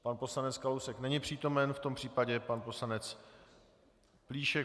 Pan poslanec Kalousek není přítomen, v tom případě pan poslanec Plíšek.